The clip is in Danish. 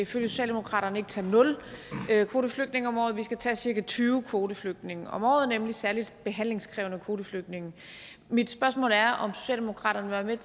socialdemokratiet tage nul kvoteflygtninge om året men at vi skal tage cirka tyve kvoteflygtninge om året nemlig særlig behandlingskrævende kvoteflygtninge mit spørgsmål er om socialdemokratiet